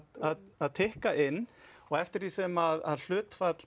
að tikka inn og eftir því sem hlutfall